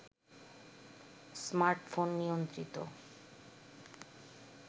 smartphone নিয়ন্ত্রিত